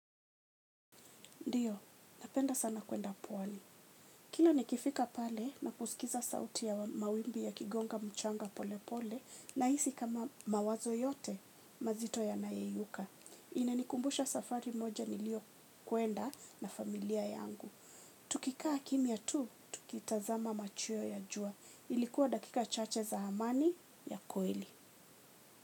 Ndiyo, napenda sana kuenda pwani. Kila nikifika pale na kusikiza sauti ya mawimbi yakigonga mchanga pole pole nahisi kama mawazo yote mazito yanayeyuka. Inanikumbusha safari moja nilio kwenda na familia yangu. Tukikaa kimya tu, tukitazama machweo ya jua. Ilikuwa dakika chache za amani ya kweli.